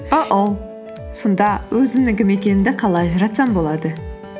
ооу сонда өзімнің кім екенімді қалай ажыратсам болады